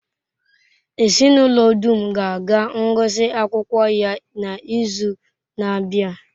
Ezinụlọ dum ga-aga ngụsị akwụkwọ ya n'izu na-abịa.